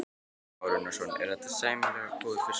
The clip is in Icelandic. Kristján Már Unnarsson: Er þetta sæmilega góður fiskur?